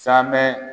Sabɛɛ